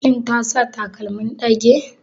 Ta sa takalmin ɗage?